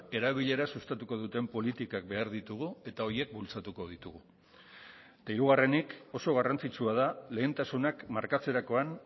erabilera sustatuko duten politikak behar ditugu eta horiek bultzatuko ditugu eta hirugarrenik oso garrantzitsua da lehentasunak markatzerakoan